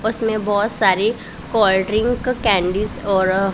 उसमें बहुत सारी कोल्ड ड्रिंक कैंडिस और--